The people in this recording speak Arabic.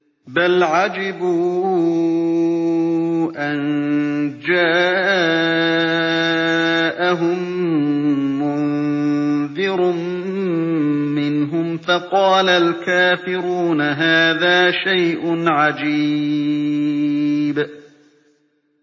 بَلْ عَجِبُوا أَن جَاءَهُم مُّنذِرٌ مِّنْهُمْ فَقَالَ الْكَافِرُونَ هَٰذَا شَيْءٌ عَجِيبٌ